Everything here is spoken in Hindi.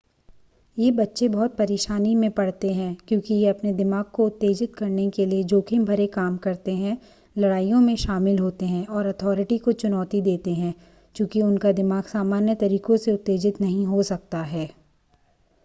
ये बच्चे बहुत परेशानी में पड़ते हैं क्योंकि ये अपने दिमाग को उत्तेजित करने के लिए जोखिम भरे काम करते हैं लड़ाइयों में शामिल होते हैं और अथॉरिटी को चुनौती देते हैं चूंकि उनका दिमाग सामान्य तरीकों से उत्तेजित नहीं हो सकता है